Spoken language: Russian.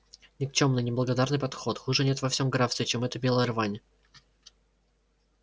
никчёмный неблагодарный подход хуже нет во всем графстве чем эта белая рвань